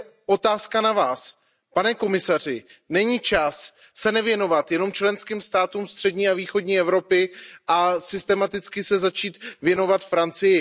Tady je otázka na Vás, pane komisaři Není čas se nevěnovat jen členským státům střední a východní Evropy a systematicky se začít věnovat Francii?